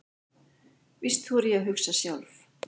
Víst þori ég að hugsa sjálf.